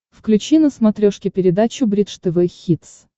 включи на смотрешке передачу бридж тв хитс